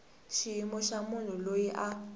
xiyimo xa munhu loyi a